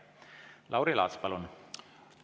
Lauri Laats, palun!